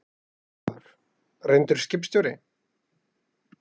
Fréttamaður: Reyndur skipstjóri?